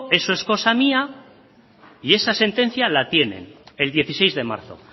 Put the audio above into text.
eso es cosa mía y esa sentencia la tienen el dieciséis de marzo